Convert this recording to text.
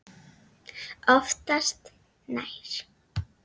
Oftast nær